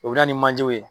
O bɛ na ni manjew ye